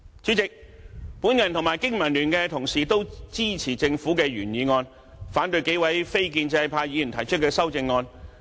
主席，我和經民聯同事都支持政府的原議案，反對數位非建制派議員提出的修正案。